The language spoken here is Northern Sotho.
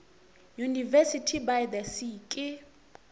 university by the sea ke